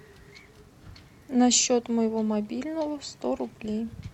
на счет моего мобильного сто рублей